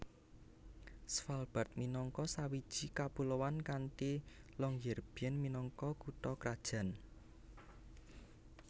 Svalbard minangka sawiji kapuloan kanthi Longyearbyen minangka kutha krajan